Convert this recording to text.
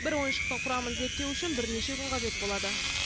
бір ойыншықтың құрамын зерттеу үшін бірнеше күн қажет болады